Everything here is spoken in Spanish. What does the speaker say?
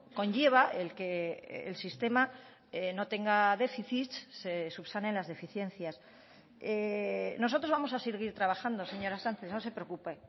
conlleva el que el sistema no tenga déficits se subsanen las deficiencias nosotros vamos a seguir trabajando señora sánchez no se preocupe